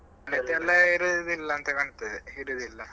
ಅದೆಲ್ಲ ಇರುದಿಲ್ಲ ಅಂತ ಕಾಣ್ತದೆ ಇರುದಿಲ್ಲ.